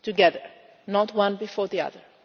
together, not one before the other.